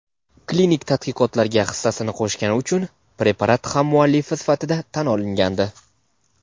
klinik tadqiqotlarga hissasini qo‘shgani uchun preparat hammuallifi sifatida tan olingandi.